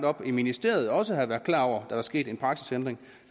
op i ministeriet også har været klar over at der er sket en praksisændring